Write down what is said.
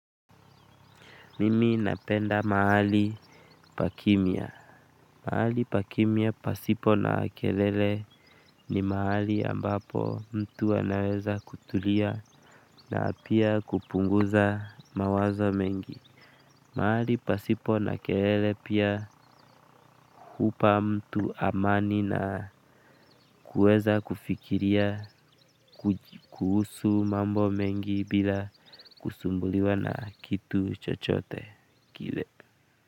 Mimi napenda mahali pa kimya mahali pakimya pasipo na kelele ni mahali ambapo mtu anaweza kutulia na pia kupunguza mawazo mengi. Mahali pasipo na kelele pia humpa mtu amani na kuweza kufikiria. Kuhusu mambo mengi bila kusumbuliwa na kitu chochote kile.